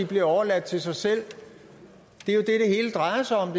bliver overladt til sig selv det er jo det det hele drejer sig om